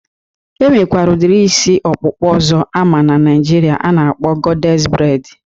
E nwekwara udiri isi ọkpụkpa ọzọ ama na Naịjirịa a na-akpọ gọdés breid